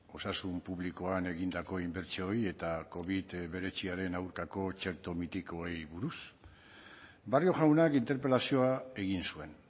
osasun publikoan egindako inbertsioei eta covid hemeretziaren aurkako txerto mitikoei buruz barrio jaunak interpelazioa egin zuen